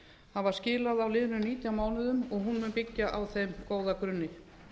hafa skilað á liðnum nítján mánuðum og hún mun byggja á þeim góða grunni